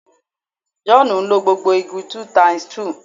Jòhánù ń lo gbogbo igi 2 x 2